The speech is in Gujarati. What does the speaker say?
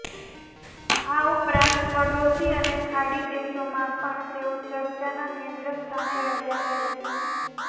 આ ઉપરાંત પડોશી અને ખાડી દેશોમાં પણ તેઓ ચર્ચાના કેન્દ્ર સ્થાને રહ્યા છે